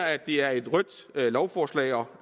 at det er et rødt lovforslag og